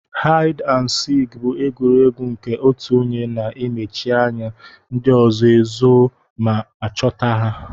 Haid and sik bu egwuregwu nke otụ onye na emechi anya ndi ọzọ ezo ma ọchọta ha.